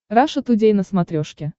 раша тудей на смотрешке